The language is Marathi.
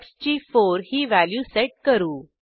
एक्स ची 4 ही व्हॅल्यू सेट करू